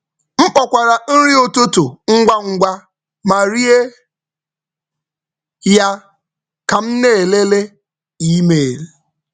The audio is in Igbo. M kpokwara nri ụtụtụ ngwa ngwa ma rie ya ka m na-elele email.